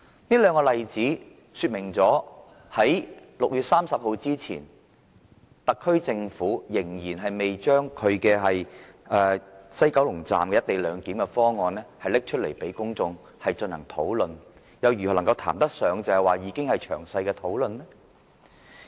這兩個例子說明在6月30日之前，特區政府仍然未公布西九龍站"一地兩檢"方案讓公眾進行討論，現時又如何談得上已經有詳細討論呢？